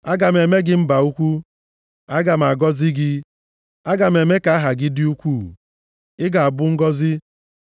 “Aga m eme gị mba ukwu, aga m agọzi gị, aga m eme ka aha gị dị ukwuu, ị ga-abụ ngọzị.